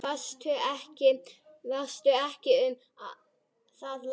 Fástu ekki um það, lagsi.